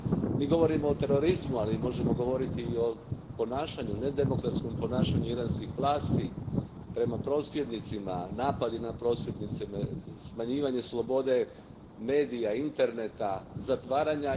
Mi govorimo o terorizmu, ali možemo govoriti i o ponašanju, nedemokratskom ponašanju iranskih vlasti prema prosvjednicima, napadima na prosvjednike, smanjivanju slobode medija, interneta, zatvaranju.